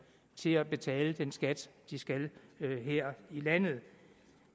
til at betale den skat de skal her i landet